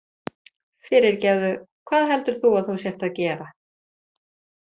Fyrirgefðu, hvað heldur þú að þú sért að gera?